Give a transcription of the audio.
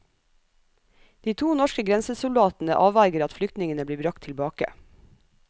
De to norske grensesoldatene avverger at flyktningene blir bragt tilbake.